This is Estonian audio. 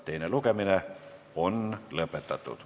Teine lugemine on lõpetatud.